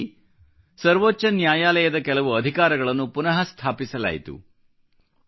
ಇದೇ ರೀತಿ ಸರ್ವೋಚ್ಚ ನ್ಯಾಯಾಲಯದ ಕೆಲವು ಅಧಿಕಾರಗಳನ್ನು ಪುನಃ ಸ್ಥಾಪಿಸಲಾಯಿತು